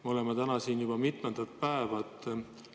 Me oleme nüüd siin juba mitu päeva.